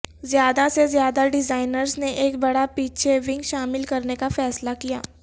زیادہ سے زیادہ ڈیزائنرز نے ایک بڑا پیچھے ونگ شامل کرنے کا فیصلہ کیا